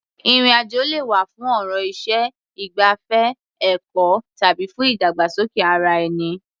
Ìrìn-àjò lè wá̀ fún ọ̀rọ̀ iṣẹ́, ìgbafẹ́, ẹ̀kọ́ tàbí fún ìdàgbàsókè ara-ẹni.